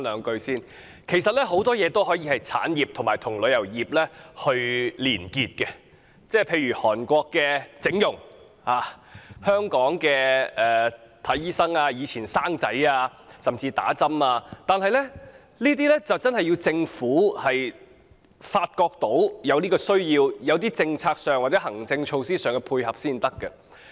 很多東西可以發展為產業，並與旅遊業連結，例如韓國的整容、香港的求診、以往的產子甚至注射疫苗，但政府需要在政策或行政措施上予以配合。